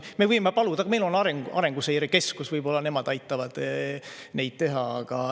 Me võime paluda, meil on Arenguseire Keskus, võib-olla nemad aitavad neid teha.